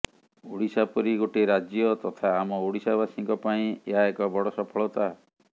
ଓଡ଼ିଶା ପରି ଗୋଟିଏ ରାଜ୍ୟ ତଥା ଆମ ଓଡିଶାବାସୀଙ୍କ ପାଇଁ ଏହା ଏକ ବଡ ସଫଳତା